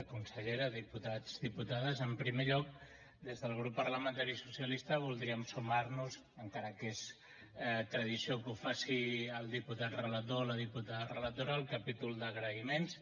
consellera diputats diputades en primer lloc des del grup parlamentari socialista voldríem sumar nos encara que és tradició que ho faci el diputat relator o la diputada relatora al capítol d’agraïments